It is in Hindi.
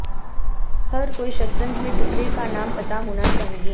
हर कोई शतरंज में टुकड़े का नाम पता होना चाहिए